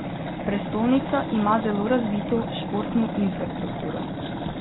Prestolnica ima zelo razvito športno infrastrukturo.